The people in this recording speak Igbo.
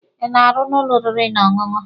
Ị na-arụ n'ụlọ oriri na ọṅụṅụ?